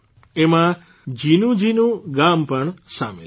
એમાં જીનુજીનું ગામ પણ સામેલ છે